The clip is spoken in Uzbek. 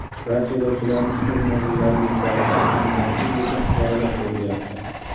Barcha yo‘lovchilarni o‘z manzillariga yetkazilishi ta’minlanishi bo‘yicha choralar ko‘rilyapti.